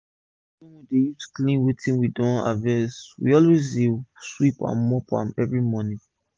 d shed wey we dey use clean wetin we don harvest we dey always sweep and mop am everi morning